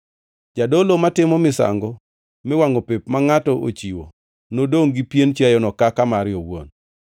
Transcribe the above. Jadolo matimo misango miwangʼo pep ma ngʼato ochiwo nodongʼ gi pien chiayono kaka mare owuon.